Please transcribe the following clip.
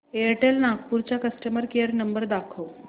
Airtel Nagpur चा customer care number दाखव